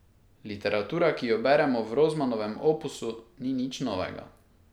Literatura, ki jo beremo, v Rozmanovem opusu ni nič novega.